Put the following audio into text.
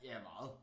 Ja meget